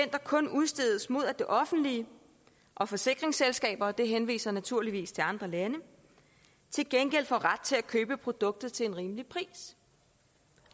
kun udstedes mod at det offentlige og forsikringsselskaberne og det henviser naturligvis til andre lande til gengæld får ret til at købe produktet til en rimelig pris